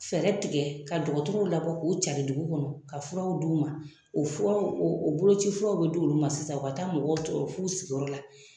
Fɛɛrɛ tigɛ ka dɔgɔtɔrɔw labɔ k'u cari dugu kɔnɔ ka furaw d'u ma. O furaw , o boloci furew bɛ di olu ma sisan ka taa mɔgɔw sɔrɔ f'u sigi yɔrɔ la.